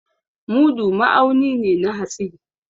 Mudu ma'auni ne na hatsi.